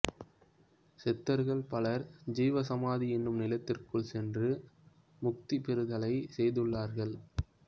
சித்தர்கள் பலர் ஜீவசமாதி எனும் நிலத்திற்குள் சென்று முக்திபெறுதலை செய்துள்ளார்கள்